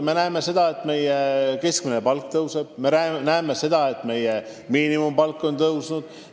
Me näeme, et meie keskmine palk tõuseb, me näeme, et meie miinimumpalk on tõusnud.